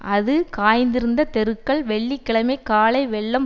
அது காய்ந்திருந்த தெருக்கள் வெள்ளி கிழமை காலை வெள்ளம்